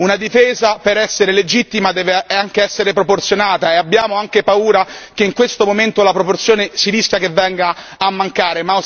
Una difesa per essere legittima deve anche essere proporzionata e abbiamo anche paura che in questo momento si rischi che la proporzione venga a mancare.